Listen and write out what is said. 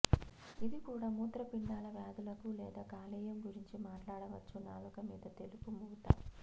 ఇది కూడా మూత్రపిండాల వ్యాధులకు లేదా కాలేయం గురించి మాట్లాడవచ్చు నాలుక మీద తెలుపు పూత